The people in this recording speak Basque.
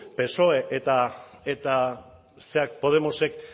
psoe eta zera podemosek